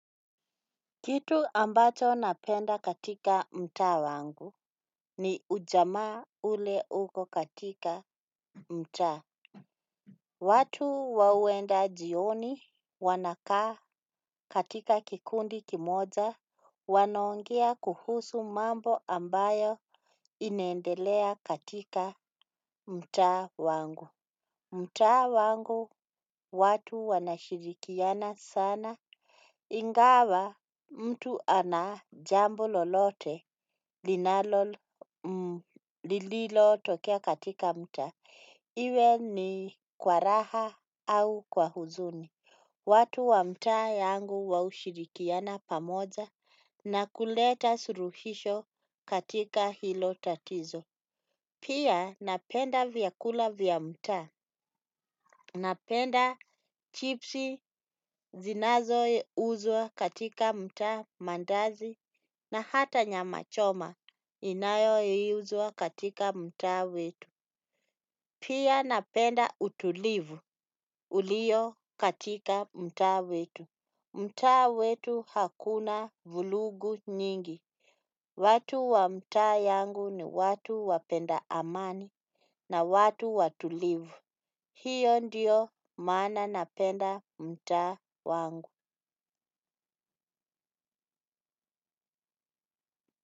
Kitu ambacho napenda katika mta wangu ni ujamaa ule uko katika mta. Watu wawenda jioni wanakaa katika kikundi kimoja wanaongea kuhusu mambo ambayo inendelea katika mta wangu. Mta wangu watu wanashirikiana sana ingawa mtu anajambo lolote linalo lililo tokea katika mta. Iwe ni kwaraha au kwa huzuni. Watu wa mta yangu waushirikiana pamoja na kuleta suruhisho katika hilo tatizo. Pia napenda vyakula vya mta. Napenda chipsi zinazo uzwa katika mta mandazi na hata nyama choma inayo uzwa katika mta wetu. Pia napenda utulivu ulio katika mta wetu. Mta wetu hakuna vulugu nyingi. Watu wa mta yangu ni watu wapenda amani na watu watulivu. Hiyo ndiyo mana napenda mta wangu.